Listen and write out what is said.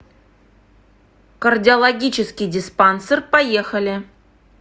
кардиологический диспансер поехали